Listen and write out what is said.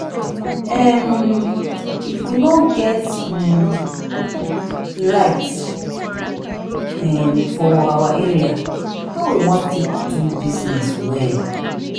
um if we no get um light um for our area how we wan take do business well?